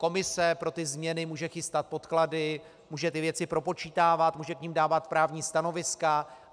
Komise pro ty změny může chystat podklady, může ty věci propočítávat, může k nim dávat právní stanoviska.